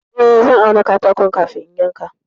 Eh, zan auna katakon kafin in yanka.